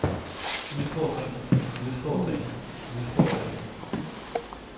udfordringer udfordringer udfordringer